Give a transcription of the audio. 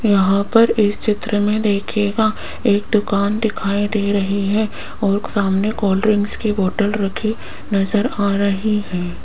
यहां पर इस चित्र में देखिएगा एक दुकान दिखाई दे रही है और सामने कोल्ड ड्रिंक्स की बोतल रखी नजर आ रही है।